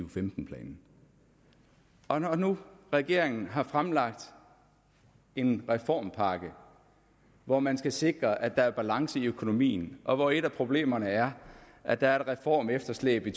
og femten planen og når nu regeringen har fremlagt en reformpakke hvor man skal sikre at der er balance i økonomien og hvor et af problemerne er at der er et reformefterslæb i